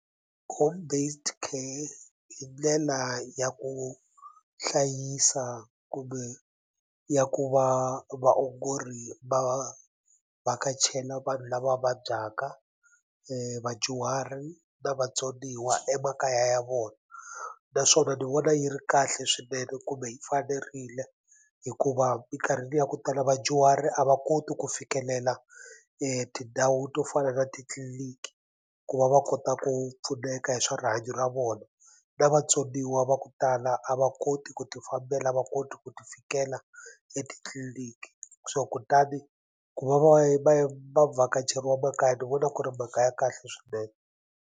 Home based care i ndlela ya ku hlayisa kumbe ya ku va vaongori va vhakachela vanhu lava vabyaka vadyuhari na vatsoniwa emakaya ya vona naswona ni vona yi ri kahle swinene kumbe yi fanerile hikuva minkarhini ya ku tala vadyuhari a va koti ku fikelela tindhawu to fana na titliliniki ku va va kota ku pfuneka hi swa rihanyo ra vona na vatsoniwa va ku tala a va koti ku ti fambela a va koti ku ti fikela etitliliniki so kutani ku va va vhakacheriwa makaya ni vona ku ri mhaka ya kahle swinene.